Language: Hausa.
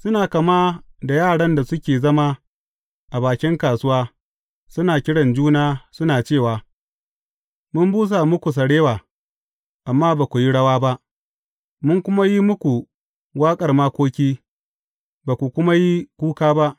Suna kama da yaran da suke zama a bakin kasuwa, suna kiran juna, suna cewa, Mun busa muku sarewa, amma ba ku yi rawa ba, Mun kuma yi muku waƙar makoki, ba ku kuma yi kuka ba.’